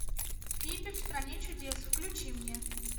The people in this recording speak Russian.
фиби в стране чудес включи мне